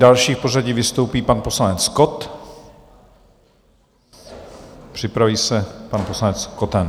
Další v pořadí vystoupí pan poslanec Kott, připraví se pan poslanec Koten.